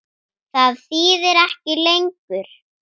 Það þýðir ekki lengur.